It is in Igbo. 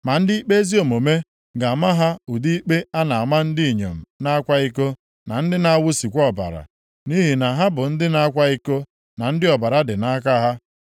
Ma ndị ikpe ezi omume ga-ama ha ụdị ikpe a na-ama ndị inyom na-akwa iko na ndị na-awụsikwa ọbara. Nʼihi na ha bụ ndị na-akwa iko, na ndị ọbara dị nʼaka ha.